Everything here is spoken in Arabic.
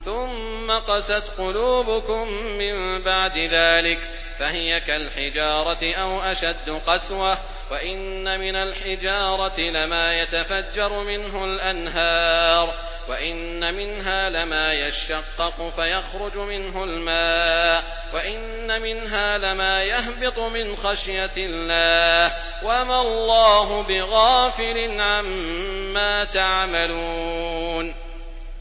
ثُمَّ قَسَتْ قُلُوبُكُم مِّن بَعْدِ ذَٰلِكَ فَهِيَ كَالْحِجَارَةِ أَوْ أَشَدُّ قَسْوَةً ۚ وَإِنَّ مِنَ الْحِجَارَةِ لَمَا يَتَفَجَّرُ مِنْهُ الْأَنْهَارُ ۚ وَإِنَّ مِنْهَا لَمَا يَشَّقَّقُ فَيَخْرُجُ مِنْهُ الْمَاءُ ۚ وَإِنَّ مِنْهَا لَمَا يَهْبِطُ مِنْ خَشْيَةِ اللَّهِ ۗ وَمَا اللَّهُ بِغَافِلٍ عَمَّا تَعْمَلُونَ